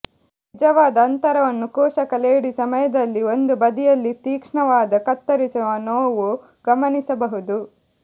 ನಿಜವಾದ ಅಂತರವನ್ನು ಕೋಶಕ ಲೇಡಿ ಸಮಯದಲ್ಲಿ ಒಂದು ಬದಿಯಲ್ಲಿ ತೀಕ್ಷ್ಣವಾದ ಕತ್ತರಿಸುವ ನೋವು ಗಮನಿಸಬಹುದು